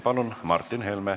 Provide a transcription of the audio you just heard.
Palun, Martin Helme!